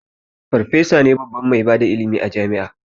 Farfesa ne babban mai bada ilimi a jami'a